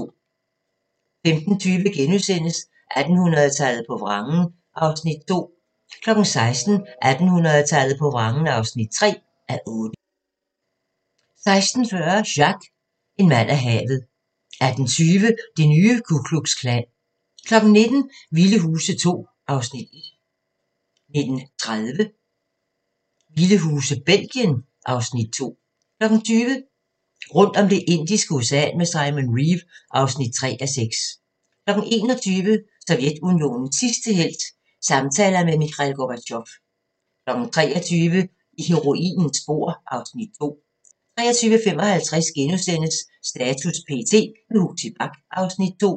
15:20: 1800-tallet på vrangen (2:8)* 16:00: 1800-tallet på vrangen (3:8) 16:40: Jacques - en mand af havet 18:20: Det nye Ku Klux Klan 19:00: Vilde Huse II (Afs. 1) 19:30: Vilde huse – Belgien (Afs. 2) 20:00: Rundt om Det indiske Ocean med Simon Reeve (3:6) 21:00: Sovjetunionens sidste helt – samtaler med Mikhail Gorbatjov 23:00: I heroinens spor (Afs. 2) 23:55: Status p.t. – med Huxi Bach (Afs. 2)*